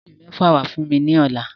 Mu iwe mefa wa fun mi lọla!